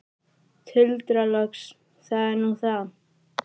Tuldra loks: Það er nú það.